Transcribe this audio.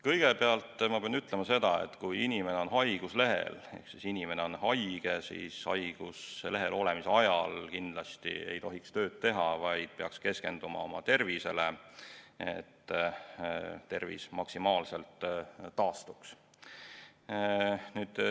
Kõigepealt ma pean ütlema seda, et kui inimene on haiguslehel ehk inimene on haige, siis haiguslehel olemise ajal kindlasti ei tohiks tööd teha, vaid peaks keskenduma oma tervisele, et see maksimaalselt taastuks.